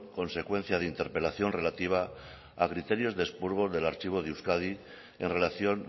consecuencia de interpelación relativa a criterios de expurgo del archivo de euskadi en relación